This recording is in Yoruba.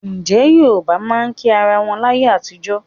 Ǹjẹ́ Yorùbá máa ń kí ara wọn láyé àtijọ́?